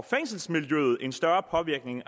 fængselsmiljøet en større påvirkning